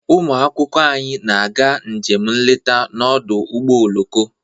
Ụmụ akwụkwọ anyị na-aga njem nleta n'ọdụ ụgbọ oloko.